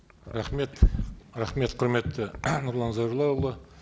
рахмет рахмет құрметті нұрлан зайроллаұлы